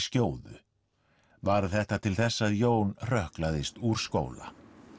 skjóðu varð þetta til þess að Jón úr skóla